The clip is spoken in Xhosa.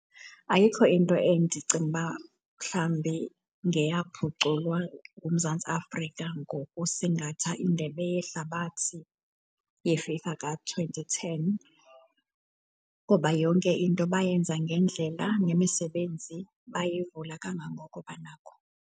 Ayikho into endicinga uba mhlambi ngeyaphuculwa nguMzantsi Afrika ngokusingatha iNdebe yeHlabathi ye-FIFA ka-twenty ten ngoba yonke into bayenza ngendlela, nemisebenzi bayivula kangangoko banakho.